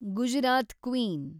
Gujarat queen